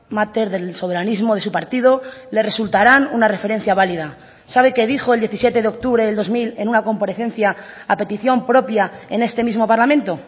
máter del soberanismo de su partido le resultarán una referencia válida sabe qué dijo el diecisiete de octubre del dos mil en una comparecencia a petición propia en este mismo parlamento